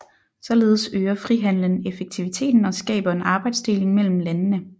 Således øger frihandelen effektiviteten og skaber en arbejdsdeling mellem landene